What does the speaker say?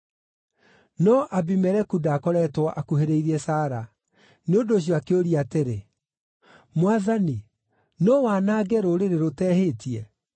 No Abimeleku ndaakoretwo akuhĩrĩirie Sara, nĩ ũndũ ũcio akĩũria atĩrĩ, “Mwathani, no wanange rũrĩrĩ rũtehĩtie?